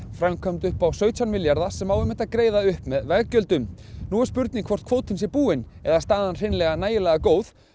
framkvæmd upp á sautján milljarða sem á einmitt að greiða upp með veggjöldum nú er spurning hvort kvótinn sé búinn eða staðan hreinlega nægilega góð